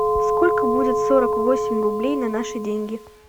сколько будет сорок восемь рублей на наши деньги